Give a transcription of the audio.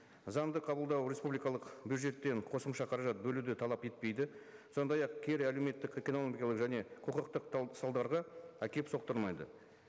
заңды қабылдау республикалық бюджеттен қосымша қаражат бөлуді талап етпейді сондай ақ кері әлеуметтік экономикалық және құқықтық салдарға әкеліп соқтырмайды